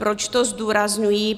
Proč to zdůrazňuji?